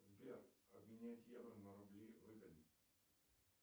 сбер обменять евро на рубли выгодно